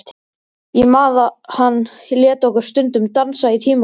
Ég man að hann lét okkur stundum dansa í tímunum.